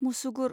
मुसुगुर